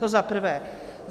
To za prvé.